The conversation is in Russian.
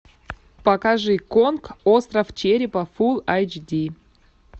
покажи конг остров черепа фулл эйч ди